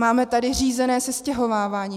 Máme tady řízené sestěhovávání.